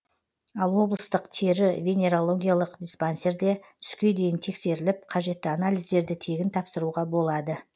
ал облыстық тері венерологиялық диспансерде түске дейін тексеріліп қажетті анализдерді тегін тапсыруға болады